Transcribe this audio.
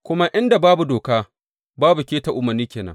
Kuma inda babu doka babu keta umarni ke nan.